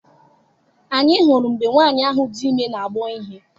Anyị hụrụ mgbe nwaanyị ahụ dị ime na-agbọ ihe.